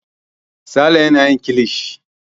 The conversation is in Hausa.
Sale yana yin kilishi.